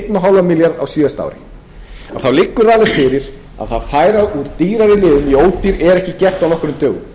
fimm milljarða á síðasta ári þá liggur alveg fyrir að það að fara úr dýrari lyfjum í ódýr er ekki gert á nokkrum dögum